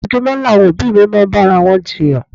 Ojoojúmọ́ làwọn òbí mi máa ń bára wọn jiyàn.